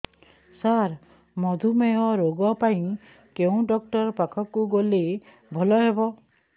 ସାର ମଧୁମେହ ରୋଗ ପାଇଁ କେଉଁ ଡକ୍ଟର ପାଖକୁ ଗଲେ ଭଲ ହେବ